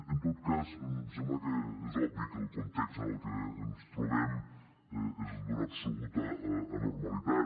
en tot cas em sembla que és obvi que el context en el que ens trobem és d’una absoluta anormalitat